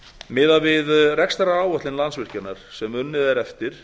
miðað við rekstraráætlun landsvirkjunar sem unnið er eftir